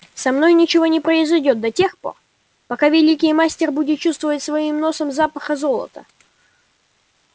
со мной ничего не произойдёт да тех пор пока великий мастер будет чувствовать своим носом запах золота